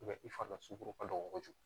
i fari dɔ sukɔrɔ ka dɔgɔ kojugu